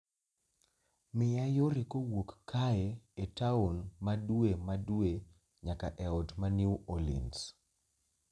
miya yore kowuok kae e taon ma dwe ma dwe nyaka e ot ma New Orleans